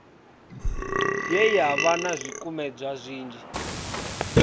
ye yavha na zwikumedzwa zwinzhi